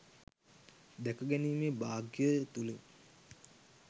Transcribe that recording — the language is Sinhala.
දැකගැනීමේ භාග්‍යය තුළින්